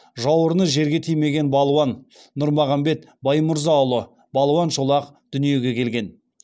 жауырыны жерге тимеген балуан нұрмағамбет баймырзаұлы балуан шолақ дүниеге келген